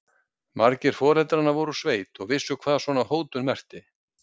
Margir foreldranna voru úr sveit og vissu hvað svona hótun merkti.